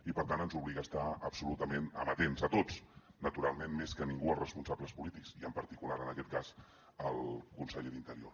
i per tant ens obliga a estar absolutament amatents a tots naturalment més que ningú els responsables polítics i en particular en aquest cas el conseller d’interior